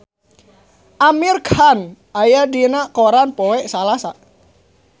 Amir Khan aya dina koran poe Salasa